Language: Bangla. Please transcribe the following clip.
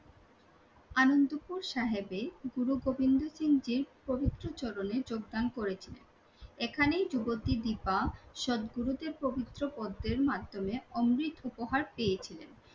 আনন্দপুর সাহেবে গুরুগোবিন্দ সিং জির পবিত্র চরণে যোগদান করেছিলেন, এখানেই যুবতী দিপা সদ্গুরু তে পবিত্র পদ্মের মাধ্যমে অমৃত উপহার পেয়েছিলেন